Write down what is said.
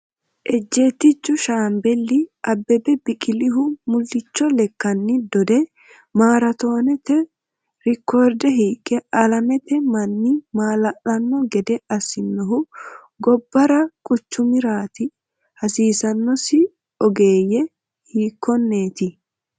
Ejjeettichu shaambeli Abbebe Biqilihu mullicho lekkanni dode maaraatoonete reekoorde hiiqqe alamete manni maala’lanno gede assinohu gobbara quchumiraati, hasiissannosi ogeessi hiikkonneeti?